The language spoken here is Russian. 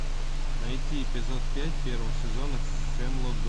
найти эпизод пять первого сезона хемлок гроув